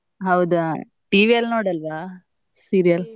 ಹೌದಾ TV ಅಲ್ಲಿ ನೋಡಲ್ವಾ serial ?